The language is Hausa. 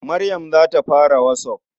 Maryam za ta fara WhatsApp.